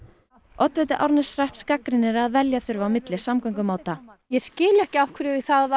oddviti Árneshrepps gagnrýnir að velja þurfi á milli samgöngumáta ég skil ekki af hverju það